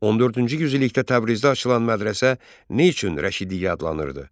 14-cü yüzillikdə Təbrizdə açılan mədrəsə nə üçün Rəşidiyyə adlanırdı?